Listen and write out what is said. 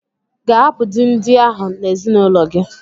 I ga-ahapụ di ndị ahụ n'ezinụlọ gi?